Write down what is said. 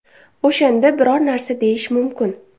O‘shanda biror narsa deyish mumkin.